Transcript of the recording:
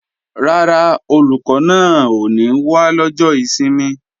Rárá, Olùkọ́ náà ò ní wá lọ́jọ́ ìsinmi